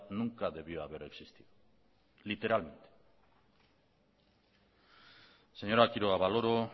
nunca debió haber existido señora quiroga valoro